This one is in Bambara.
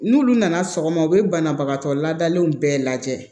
N'ulu nana sɔgɔma u be banabagatɔ ladalenw bɛɛ lajɛ